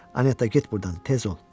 Anetta, get burdan, tez ol.